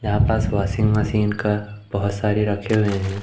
यहां पास washing machine का बहोत सारी रखे हुए हैं।